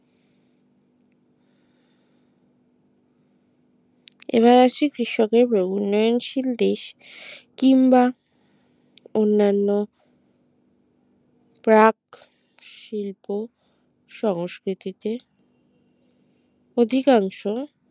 এবার আসি কৃষকের উন্নয়নশীল দেশ কিংবা অন্যান্য প্রাক শিল্প সংস্কৃতিতে অধিকাংশ